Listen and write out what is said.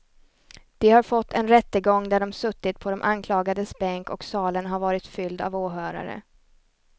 De har fått en rättegång där de suttit på de anklagades bänk och salen har varit fylld av åhörare.